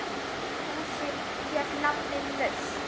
Húsið fékk nafnið Naust.